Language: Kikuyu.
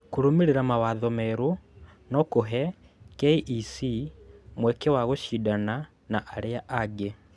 Kũrũmĩrĩra mawatho merũ no kũhe KEC mweke wa kũcindana na arĩa angĩ